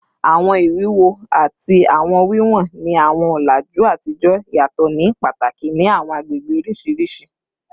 Awọn iwuwo ati awọn wiwọn ni awọn ọlaju atijọ yatọ ni pataki ni awọn agbegbe oriṣiriṣi